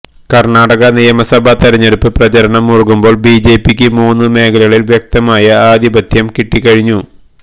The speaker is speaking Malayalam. കര്ണാടക നിയമസഭാ തെരഞ്ഞെടുപ്പ് പ്രചാരണം മുറുകുമ്പോള് ബിജെപിക്ക് മൂന്നു മേഖലകളില് വ്യക്തമായ ആധിപതപത്യം കിട്ടിക്കഴിഞ്ഞു